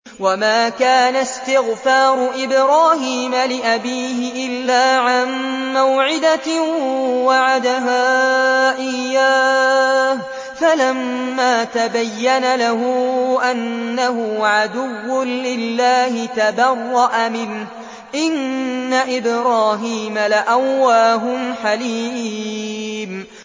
وَمَا كَانَ اسْتِغْفَارُ إِبْرَاهِيمَ لِأَبِيهِ إِلَّا عَن مَّوْعِدَةٍ وَعَدَهَا إِيَّاهُ فَلَمَّا تَبَيَّنَ لَهُ أَنَّهُ عَدُوٌّ لِّلَّهِ تَبَرَّأَ مِنْهُ ۚ إِنَّ إِبْرَاهِيمَ لَأَوَّاهٌ حَلِيمٌ